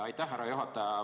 Aitäh, härra juhataja!